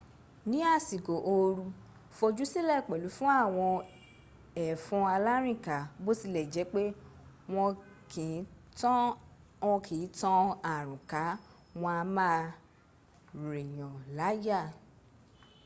ní àsìkò ooru fojúsílẹ̀ pẹ̀lú fún àwọn ẹ̀fọn alárìnká. bó tilẹ̀ jẹ́ pé wọ́n kì ń tan àrùn ká wọ́n a má a rìnyànláyà